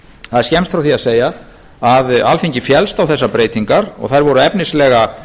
það er skemmst frá því að segja að alþingi féllst á þessar breytingar og þær voru efnislega